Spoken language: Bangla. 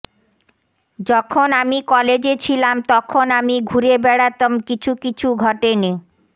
যখন আমি কলেজে ছিলাম তখন আমি ঘুরে বেড়াতাম কিছু কিছু ঘটেনি